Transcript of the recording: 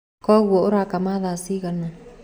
Koguo ũrakama thaa cigana.